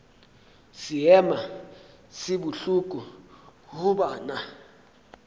seema se bohloko go banna